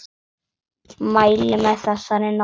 Mæli með þessari nálgun!